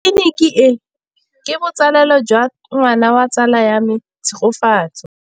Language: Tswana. Tleliniki e, ke botsalêlô jwa ngwana wa tsala ya me Tshegofatso.